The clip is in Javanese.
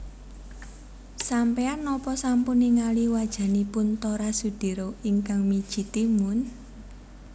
Sampean nopo sampun ningali wajanipun Tora Sudiro ingkang miji timun?